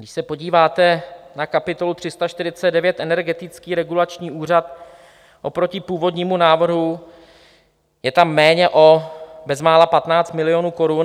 Když se podíváte na kapitolu 349 Energetický regulační úřad, oproti původnímu návrhu je tam méně o bezmála 15 milionů korun.